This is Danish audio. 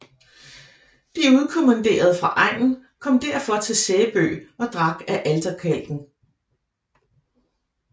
De udkommanderede fra egnen kom derfor til Sæbø og drak af alterkalken